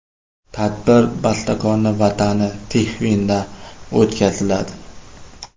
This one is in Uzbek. Tadbir bastakorning Vatani Tixvinda o‘tkaziladi.